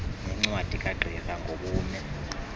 nencwadi kagqirha ngobume